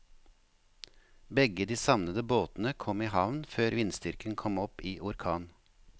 Begge de savnede båtene kom i havn før vindstyrken kom opp i orkan.